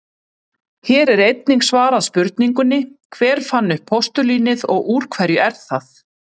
Hér er einnig svarað spurningunni: Hver fann upp postulínið og úr hverju er það?